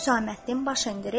Husaməddin baş endirib: